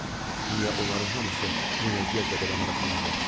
Niyə onların hamısı nənəciyəzlə belə maraqlanırlar?